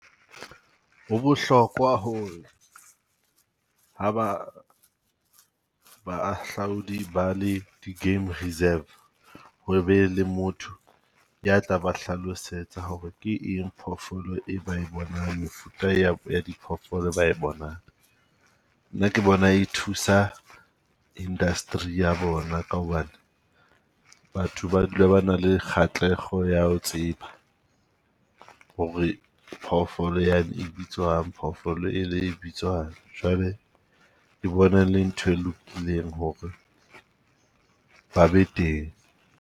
Ho bohlokwa ho re ha ba baahlaodi ba le di game reserve ho be le motho ya tla ba hlalosetsa ho re ke eng phoofolo e ba e bonang, mefuta ya ya diphoofolo e ba e bonang. Nna ke bona e thusa industry ya bona ka hobane batho ba dula ba na le kgatlekgo ya ho tseba, ho re re phoofolo ya ne e bitswang, phoofolo e le bitswang. Jwale ke bona e le ntho e lokileng ho re ba be teng.